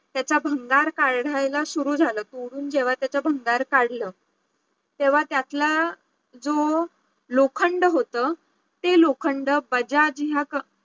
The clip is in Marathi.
त्याचा भंगार काढायला सुरु झालं पुरून जेव्हा त्याच भंगार काढल तेव्हा त्यातला जो लोखंड होतं ते लोखंड बजाज ह्या